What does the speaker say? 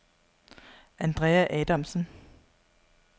Andrea Adamsen